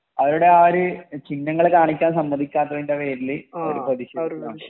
അവരുടെ ആ ഒരു ചിഹ്നങ്ങൾ കാണിക്കാൻ സമ്മധികത്തിൻ്റെ പേരിൽ അവർ പ്ര